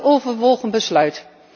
Een weloverwogen besluit.